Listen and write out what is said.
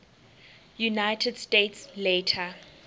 united states later